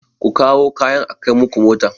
Ku kawo kayan a kai muku mota!